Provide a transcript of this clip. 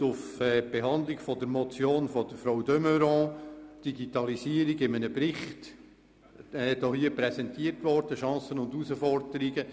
Bei der Behandlung der Motion 189-2016 von Frau Grossrätin de Meuron wurde hier im Grossen Rat ein Bericht zur Digitalisierung und ihren Chancen und Herausforderungen präsentiert.